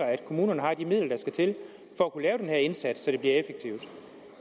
at kommunerne har de midler der skal til for at kunne lave den her indsats så det bliver gjort effektivt